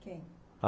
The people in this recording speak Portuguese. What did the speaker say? Quem?